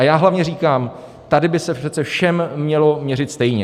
A já hlavně říkám, tady by se přece všem mělo měřit stejně.